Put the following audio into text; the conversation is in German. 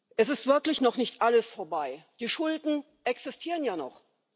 Es ist wirklich noch nicht alles vorbei Die Schulden existieren ja noch.